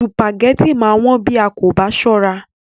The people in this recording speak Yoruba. Sùpàgẹ́tì máa wón bí a kò bá sọ́ra.